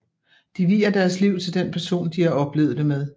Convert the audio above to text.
De vier deres liv til den person de har oplevet det med